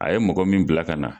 A ye mɔgɔ min bila ka na